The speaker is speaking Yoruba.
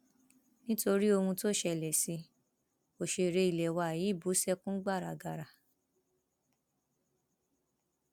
nítorí ohun tó ṣẹlẹ sí i òṣèré ilé wa yìí bú sẹkún gbàràgàrà